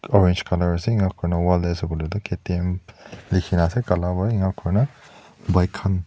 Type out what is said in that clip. orange colour ase inaikurina wall teh K_T_M likhina ase Kala wa inaikurina.